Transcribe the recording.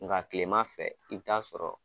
Nga tilema fɛ i bɛ t'a sɔrɔ